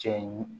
Cɛ in